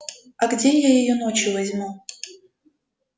а где я её ночью возьму